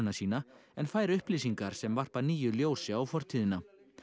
sína en fær upplýsingar sem varpa nýju ljósi á fortíðina